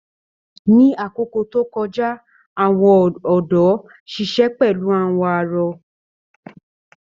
Ni àkókò tó kọjá, àwọn ọ̀dọ́ ṣiṣẹ pẹlu àwọn arọ.